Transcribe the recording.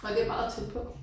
Og det meget tæt på